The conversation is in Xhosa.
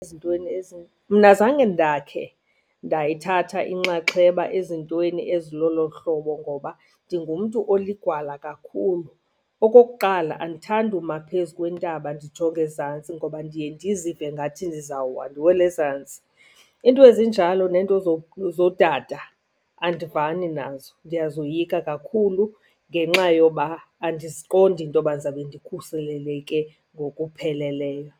Ezintweni , mna azange ndakhe ndayithatha inxaxheba ezintweni ezilolo hlobo ngoba ndingumntu oligwala kakhulu. Okokuqala andithandi uma phezu kwentaba ndijonge ezantsi ngoba ndiye ndizive ngathi ndizawuwa, ndiwele ezantsi. Iinto ezinjalo neento zodada andivani nazo, ndiyazoyika kakhulu ngenxa yoba andiziqondi intoba ndizawube ndikhuseleke ngokupheleleyo.